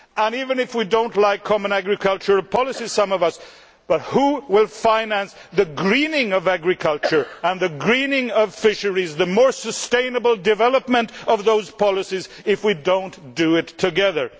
Even if some of us do not like common agricultural policies we must ask who will finance the greening of agriculture and the greening of fisheries and the more sustainable development of those policies if we do not do it together?